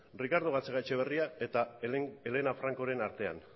ricardo gatxagaetxebarria eta elena francoren artean